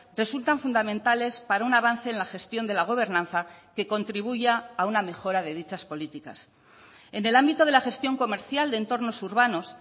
resultan fundamentales para un avance en la gestión de la gobernanza que contribuya a una mejora de dichas políticas en el ámbito de la gestión comercial de entornos urbanos